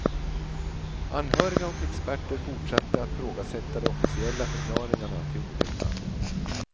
Anhöriga och experter fortsatte att ifrågasätta de officiella förklaringarna till olyckan.